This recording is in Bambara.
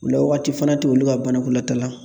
O la waati fana te olu ka banakolataa la.